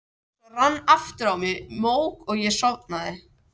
Svo rann aftur á mig mók og ég sofnaði.